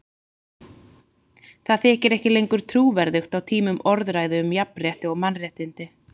Það þykir ekki lengur trúverðugt á tímum orðræðu um jafnrétti og mannréttindi.